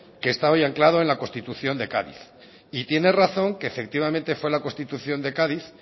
que estaba yo anclado en la constitución de cádiz y tiene razón que efectivamente fue la constitución de cádiz